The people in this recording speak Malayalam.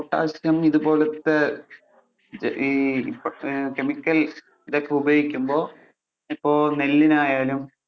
potassium ഇതുപോലത്തെ ഈ chemical ഇതൊക്കെ ഉപയോഗിക്കുമ്പോൾ ഇപ്പൊ നെല്ലിനായാലും.